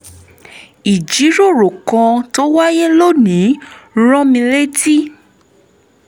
ìjíròrò kan tó wáyé lónìí rán mi létí